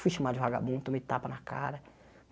Fui chamado de vagabundo, tomei tapa na cara.